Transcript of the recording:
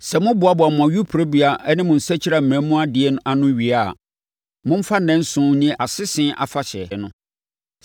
Sɛ moboaboa mo ayuporobea ne mo nsakyimena mu adeɛ ano wie a, momfa nnanson nni Asese Afahyɛ no.